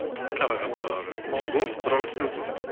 қарағандыға бару керек болды бір ауыз сөзіңіз